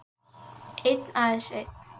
Einn, aðeins einn